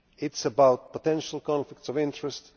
It is about potential conflicts of interest